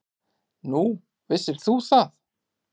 Nú, vissir þú það?